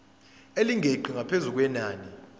elingeqi ngaphezu kwenani